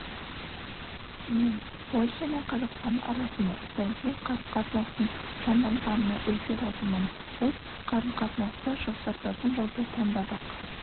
мен польша мен қазақстан арасында саяси қарым-қатынастың жанданғанына өте разымын біз қарым-қатынасты жақсартататын жолды таңдадық